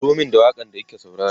turo Mani da waƙan da kike sauraro